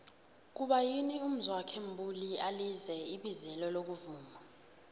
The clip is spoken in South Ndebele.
kuba yini umzwokhe mbuli alize ibizelo lokuvuma